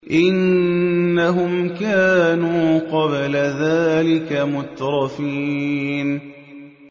إِنَّهُمْ كَانُوا قَبْلَ ذَٰلِكَ مُتْرَفِينَ